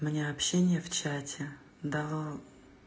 у меня общение в чате да